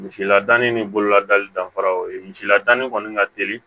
Misiladanni ni bololadu dafara o ye misiladani kɔni ka teli